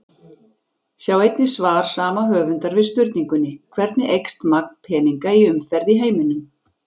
Sjá einnig svar sama höfundar við spurningunni Hvernig eykst magn peninga í umferð í heiminum?